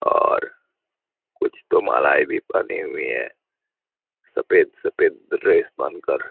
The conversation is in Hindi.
और कुछ तो मलाई भी बनी हुई है सफेद सफेद ड्रेस पहनकर।